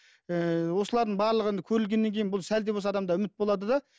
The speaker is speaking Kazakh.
ііі осылардың барлығы енді көрілгеннен кейін бұл сәл де болса адамда үміт болады да